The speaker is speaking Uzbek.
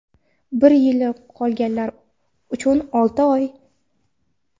bir yili qolganlar uchun olti oy.